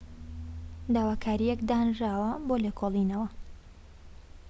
داواکاریەك دانرا بۆ لێکۆڵینەوە